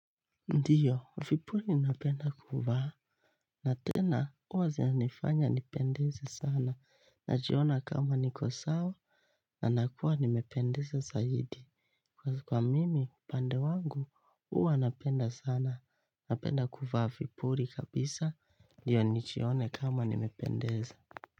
Ndiyo, vipuli napenda kuvaa, na tena huwa zinanifanya nipendeze sana, najiona kama niko sawa, na nakuwa nimependeza zaidi. Kwa kwa mimi, pande wangu, huwa napenda sana, napenda kuvaa vipuli kabisa, ndiyo nijione kama nimependeza.